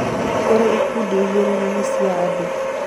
Kũrĩ ikundi igĩrĩ nene cia andũ;